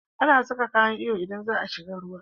Ana Saka kayan iyo idan zaa shiga ruwa